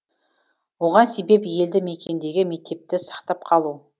оған себеп елді мекендегі мектепті сақтап қалу